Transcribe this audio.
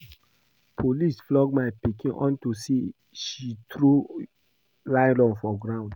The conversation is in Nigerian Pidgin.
Police flog my pikin unto say she throw nylon for ground